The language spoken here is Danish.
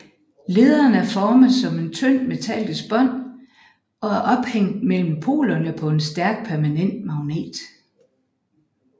Lederen er formet som et tynd metallisk bånd og er ophængt mellem polerne på en stærk permanent magnet